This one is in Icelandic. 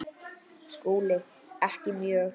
SKÚLI: Ekki mjög.